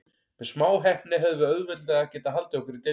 Með smá heppni hefðum við auðveldlega getað haldið okkur í deildinni.